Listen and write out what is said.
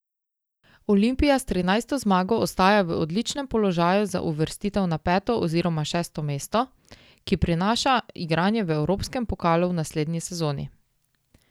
Olimpija s trinajsto zmago ostaja v odličnem položaju za uvrstitev na peto oziroma šesto mesto, ki prinaša igranje v evropskem pokalu v naslednji sezoni.